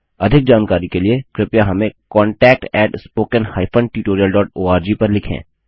अधिक जानकारी के लिए कृपया हमें contactspoken हाइफेन tutorialओआरजी पर लिखें